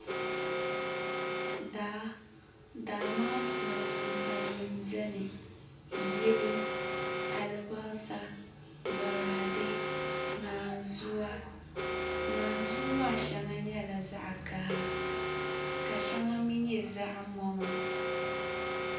Daa daa maa puuni ninsal nim n biɛni yili alibarisa boraadɛ naazuwa naanzuu maa shɛŋa nyɛla zaɣ kaha ka shɛŋa mii nyɛ zaɣ moma